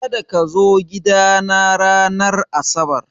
Kada kazo gidana ranar asabar!